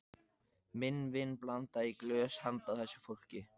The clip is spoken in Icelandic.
Minn vin blandaði í glös handa þessu fólki.